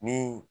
Ni